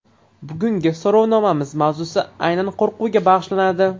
Bugungi so‘rovnomamiz mavzusi aynan qo‘rquvga bag‘ishlanadi.